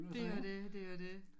Det jo det det jo det